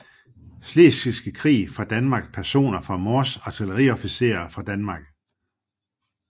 Slesvigske Krig fra Danmark Personer fra Mors Artilleriofficerer fra Danmark